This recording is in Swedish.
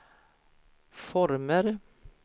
former